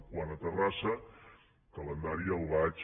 quant a terrassa el calendari el vaig